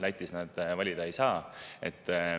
Lätis nad valida ei saa.